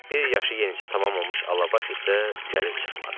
Bir yaşı yenicə tamam olmuş Alabaş isə gəlib çıxmadı.